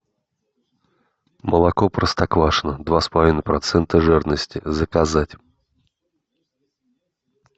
молоко простоквашино два с половиной процента жирности заказать